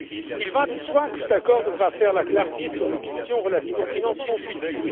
Il va de soi que cet accord devra faire la clarté sur les questions relatives au financement futur.